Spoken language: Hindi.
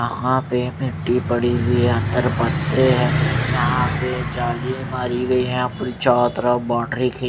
यहां पे मिट्टी पड़ी हुई है अंदर यहां पे जाली मारी गई है यहां पे चारों तरफ बाउंड्री की--